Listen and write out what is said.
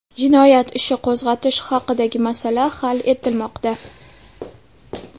Jinoyat ishi qo‘zg‘atish haqidagi masala hal etilmoqda.